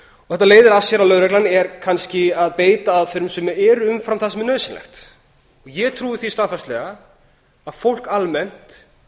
þetta leiðir af sér að lögreglan er kannski að beita aðferðum sem eru um fram það sem er nauðsynlegt ég trúi því staðfastlega að fólk almennt